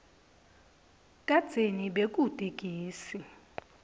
kadzeni bekute gesi